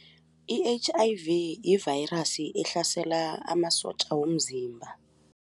I-H_I_V yi-virus ehlasela amasotja womzimba.